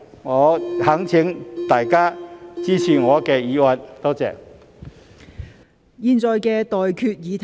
我懇請大家支持我的議案，多謝。